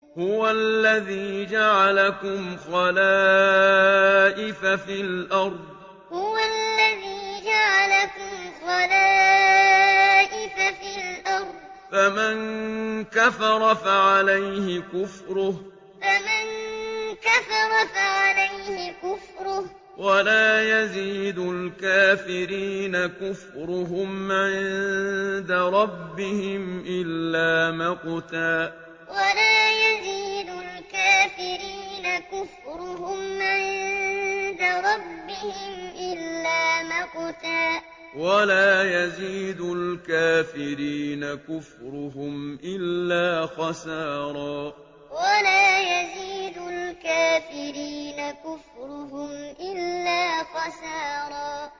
هُوَ الَّذِي جَعَلَكُمْ خَلَائِفَ فِي الْأَرْضِ ۚ فَمَن كَفَرَ فَعَلَيْهِ كُفْرُهُ ۖ وَلَا يَزِيدُ الْكَافِرِينَ كُفْرُهُمْ عِندَ رَبِّهِمْ إِلَّا مَقْتًا ۖ وَلَا يَزِيدُ الْكَافِرِينَ كُفْرُهُمْ إِلَّا خَسَارًا هُوَ الَّذِي جَعَلَكُمْ خَلَائِفَ فِي الْأَرْضِ ۚ فَمَن كَفَرَ فَعَلَيْهِ كُفْرُهُ ۖ وَلَا يَزِيدُ الْكَافِرِينَ كُفْرُهُمْ عِندَ رَبِّهِمْ إِلَّا مَقْتًا ۖ وَلَا يَزِيدُ الْكَافِرِينَ كُفْرُهُمْ إِلَّا خَسَارًا